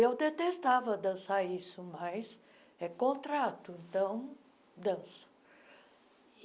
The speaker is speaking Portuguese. Eu detestava dançar isso, mas é contrato, então danço.